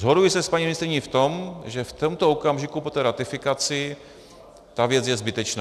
Shoduji se s paní ministryní v tom, že v tomto okamžiku po té ratifikaci ta věc je zbytečná.